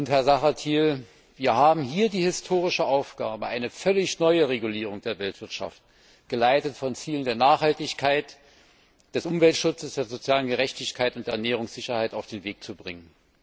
Herr Zahradie, wir haben hier die historische Aufgabe, eine völlig neue Regulierung der Weltwirtschaft, geleitet von Zielen der Nachhaltigkeit, des Umweltschutzes, der sozialen Gerechtigkeit und der Ernährungssicherheit, auf den Weg zu bringen.